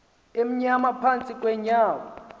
amnyama phantsi kweenyawo